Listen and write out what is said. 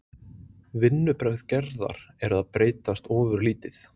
Vinnubrögð Gerðar eru að breytast ofurlítið.